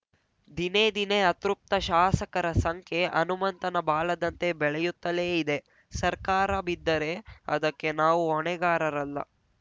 ದಿನೇ ದಿನೇ ಅತೃಪ್ತ ಶಾಸಕರ ಸಂಖ್ಯೆ ಹನುಮಂತನ ಬಾಲದಂತೆ ಬೆಳೆಯುತ್ತಲೇ ಇದೆ ಸರ್ಕಾರ ಬಿದ್ದರೆ ಅದಕ್ಕೆ ನಾವು ಹೊಣೆಗಾರರಲ್ಲ